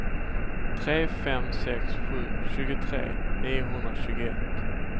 tre fem sex sju tjugotre niohundratjugoett